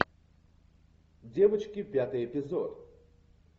девочки пятый эпизод